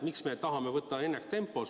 Miks me tahame tegutseda ennaktempos?